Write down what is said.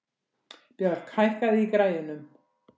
Björk, hækkaðu í græjunum.